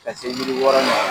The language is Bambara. Ka se yiri wɔɔrɔ na